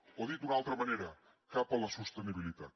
o dit d’una altra manera cap a la sostenibilitat